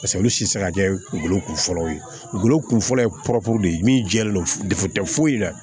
Paseke olu tɛ se ka kɛ golo kun fɔlɔw ye golo kunfɔlɔ ye pɔrɔ de ye min jɛlen don de tɛ foyi la